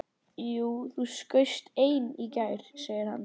Jú, það skaust ein í gær, segir hann.